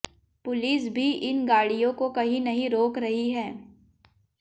police भी इन गाड़ियों को कहीं नहीं रोक रही है